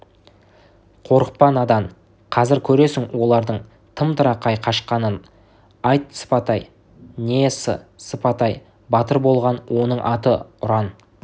қорықпа надан қазір көресің олардың тым-тырақай қашқанын айт сыпатай не с-сы-сыпатай батыр болған оның аты ұран